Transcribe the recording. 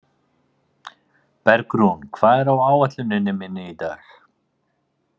Bergrún, hvað er á áætluninni minni í dag?